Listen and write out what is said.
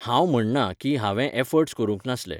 हांव म्हण्णा की, हांवें ऍफर्ट्स करूंक नासले